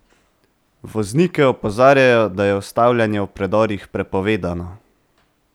Voznike opozarjajo, da je ustavljanje v predorih prepovedano!